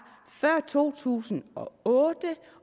før to tusind og otte